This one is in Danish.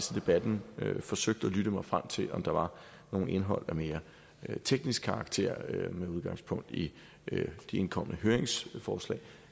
debatten forsøgt at lytte mig frem til om der var noget indhold af mere teknisk karakter med udgangspunkt i de indkomne høringssvar